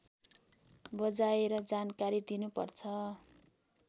बजाएर जानकारी दिनुपर्छ